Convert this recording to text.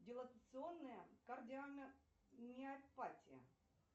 дилатационная кардиомиопатия